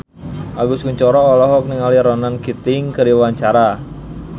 Agus Kuncoro olohok ningali Ronan Keating keur diwawancara